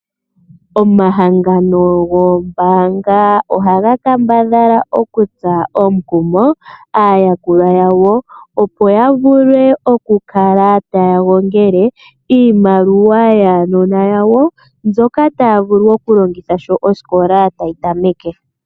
Omahangano gombaanga oha ga kambadhala okutsa omukumo aayalulwa yawo, opo ya vule okukala ta ya gongele iimaliwa yaanona yawo, mbyoka ta ya vulu okulongitha sho oosikola tayi tameke.